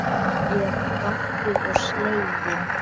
Ég var gáttuð og slegin.